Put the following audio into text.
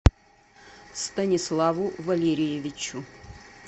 станиславу валерьевичу